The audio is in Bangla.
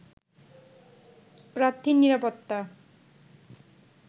প্রার্থীর নিরাপত্তা